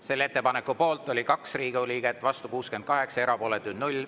Selle ettepaneku poolt oli 2 Riigikogu liiget, vastu 68, erapooletuid 0.